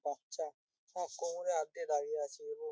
বাচ্চা আহ- কোমরে হাত দিয়ে দাঁড়িয়ে আছে এবং--